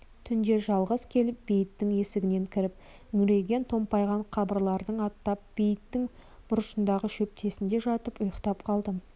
түнде жалғыз келіп бейіттің есігінен кіріп үңірейген томпайған қабырлардан аттап бейіттің бұрышындағы шөптесінге жатып ұйықтап қалдым